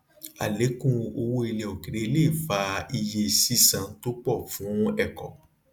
àlékún owó ilẹ òkèèrè lè fa iye sísan tó pọ fún ẹkọ